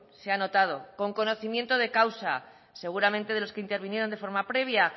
se ha notado con conocimiento de causa seguramente de los que intervinieron de forma previa